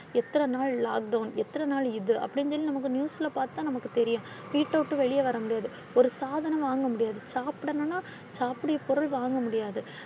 எத்தனை நாள் lockdown எத்தனை நாள் இது அப்படினு சொல்லி நமக்கு பாத்து தான் நமக்கு தெரியும். வீட்ட விட்டு வெளிய வர முடியாது. ஒரு சாதனம் வாங்க முடியாது. சாப்பிடும்னா சாப்பிடற பொருள் வாங்க முடியாது.